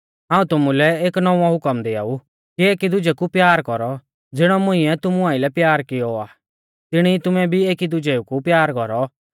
हाऊं तुमुलै एक नौंवौ हुकम दिआऊ कि एकी दुजै कु प्यार कौरौ ज़िणौ मुंइऐ तुमु आइलै प्यार किऔ आ तिणी ई तुमै भी एकी दुजै कु प्यार कौरौ